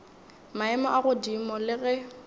maemo a godimo le ge